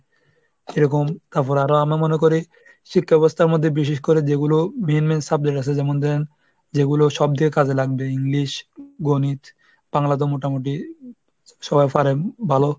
এরকম তারপরে আরো আমরা মনে করি শিক্ষা ব্যবস্থার মধ্যে বিশেষ করে যেগুলো main main সাবজেক্ট আছে যেমন দেন যেগুলো সব দিয়ে কাজে লাগবে, English গণিত বাংলা তো মোটামুটি সবাই পারেন ভালো।